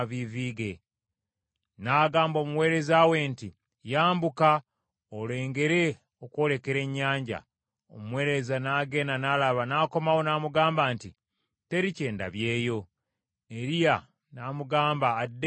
N’agamba omuweereza we nti, “Yambuka, olengere okwolekera ennyanja.” Omuweereza n’agenda n’alaba n’akomawo n’amugamba nti, “Teri kye ndabyewo.” Eriya n’amugamba addeyo emirundi musanvu.